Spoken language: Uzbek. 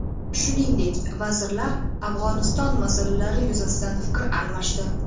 Shuningdek, vazirlar Afg‘oniston masalalari yuzasidan fikr almashdi.